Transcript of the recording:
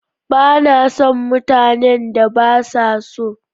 Ba na son mutanen da ba sa so.